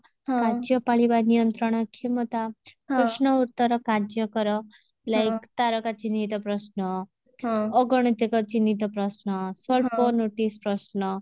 ରାଜ୍ୟ ପାଳିବା ନିୟନ୍ତ୍ରଣ କ୍ଷମତା ପ୍ରଶ୍ନ ଉତ୍ତର କାର୍ଯ୍ୟ କର like ପ୍ରଶ୍ନ ଅଗଣିତିକ ଚିହ୍ନିତ ପ୍ରଶ୍ନ ସ୍ୱଳ୍ପ notice ପ୍ରଶ୍ନ